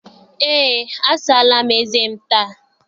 Eé, a saala m eze m taa.